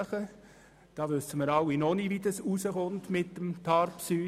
Hier wissen wir noch nicht, wie es mit TARPSY herauskommen wird.